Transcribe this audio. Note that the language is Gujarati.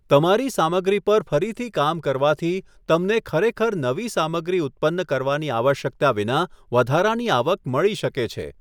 તમારી સામગ્રી પર ફરીથી કામ કરવાથી તમને ખરેખર નવી સામગ્રી ઉત્પન્ન કરવાની આવશ્યકતા વિના વધારાની આવક મળી શકે છે.